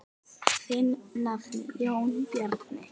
Þinn nafni, Jón Bjarni.